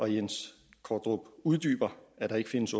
jens kondrup uddyber at der ikke findes